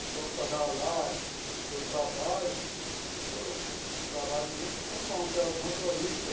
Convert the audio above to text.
Os funcionários lá, que eu trabalho trabalho junto, são bom, que é os motoristas.